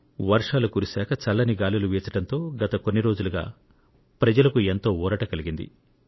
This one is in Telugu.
వర్షాలు కురిశాక చల్లని గాలులు వీచడంతో గత కొన్ని రోజులుగా ప్రజలకు ఎంతో ఊరట కలిగింది